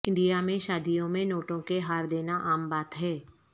India میں شادیوں میں نوٹوں کے ہار دینا عام بات ہے